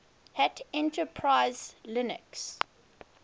hat enterprise linux